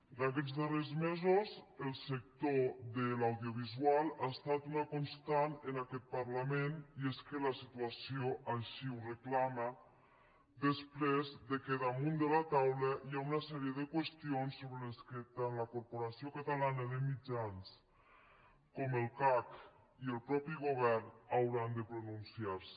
en aquests darrers mesos el sector de l’audiovisual ha estat una constant en aquest parlament i és que la situació així ho reclama després que damunt de la taula hi ha una sèrie de qüestions sobre les quals tant la corporació catalana de mitjans com el cac i el mateix govern hauran de pronunciar se